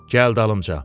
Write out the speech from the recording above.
Gəl dalımca.